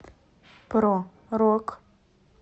про рок